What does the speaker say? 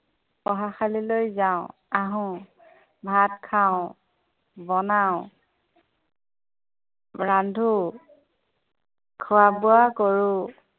পঢ়াশালিলৈ যাওঁ, আহো। ভাত খাওঁ, বনাওঁ ৰান্ধো খোৱা-বোৱা কৰো।